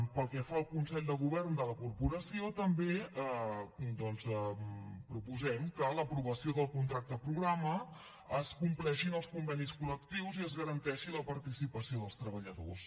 pel que fa al consell de govern de la corporació també doncs proposem que a l’aprovació del contracte programa es compleixin els convenis col·lectius i es garanteixi la participació dels treballadors